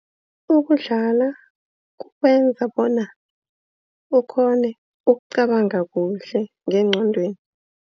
Ukudlala kukwenza bona ukghone ukucabanga kuhle ngengqondweni.